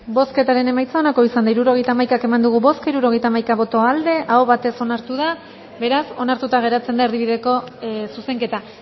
bozketaren emaitza onako izan da hirurogeita hamaika eman dugu bozka hirurogeita hamaika boto aldekoa aho batez onartu da beraz onartuta geratzen da erdibideko zuzenketa